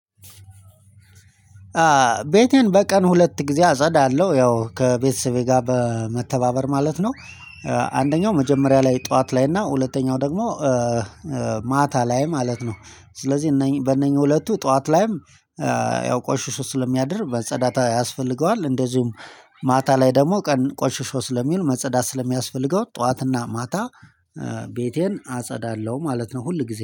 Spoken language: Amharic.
ቤቴን በቀን ሁለት ጊዜ አጸዳለሁ ያው ከቤተሰቤ ጋር በመተባበር ማለት ነው። አንደኛው መጀመሪያ ላይ ጠዋት ላይ እና ሁለተኛው ደግሞ ማታ ላይ ማለት ነው። ስለዚህ በእነኚህ ሁለቱ ጠዋት ላይም ያው ቆሽሾ ስለሚያድር መጸዳት ያስፈልገዋል እንደዚሁም ማታ ላይ ደግሞ ቀን ቆሽሾ ስለሚውል መጸዳት ስለሚያስፈልገው ጠዋትና ማታ ቤቴን አጸዳለሁ ማለት ነው። ሁል ጊዜ